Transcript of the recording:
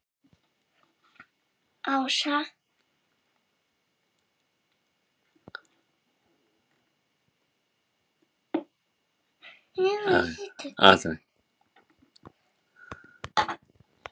Áslaug, Björg og Páll Ásgeir.